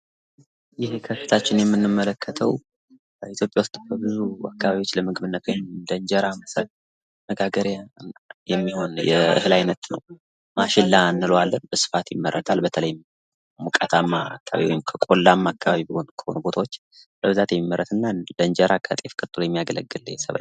ይህ ከፊታችን የምንመለከተው ኢትዮጵያ ውስጥ በብዙ አካባቢዎች ለምግብነት እንጀራ መጋገሪያ የሚሆን የእህል አይነት ነው። ማሽላ እንለዋለን በስፋት ይመረታል። በተለይ ሙቀታማ ቆላማ በሆኑ ቦታዎች በብዛት የሚመረት እና ከእንጀራ ከጤፍ ቀጥሎ የሚያገለግል የሰብል አይነት ነው።